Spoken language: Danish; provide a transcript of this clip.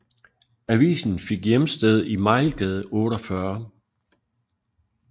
Avisen fik hjemsted i Mejlgade 48